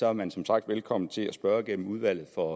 er man som sagt velkommen til at spørge gennem udvalget for